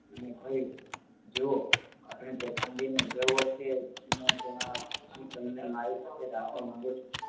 અને કહ્યું જુઓ આપણે તોફાન દિન ઉજવવો છે તેમાં તમને મારી પાસે રાખવા માગું છું